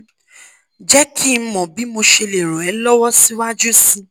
jeki mo bi mo se le ran e lowo si waju si